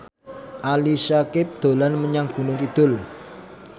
Ali Syakieb dolan menyang Gunung Kidul